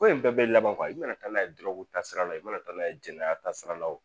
Ko in bɛɛ bɛ laban i mana taa n'a ye ta sira la, i mana taa n'a ye jɛnɛya ta sira la o